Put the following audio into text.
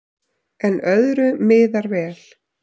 En öðru miðar vel.